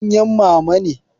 Tukunyan mama ne.